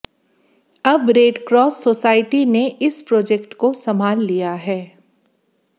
अब Red Cross Society ने इस प्रोजेक्ट को सम्भाल लिया है